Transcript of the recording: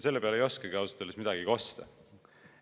" Selle peale ei oskagi ausalt öeldes midagi kosta.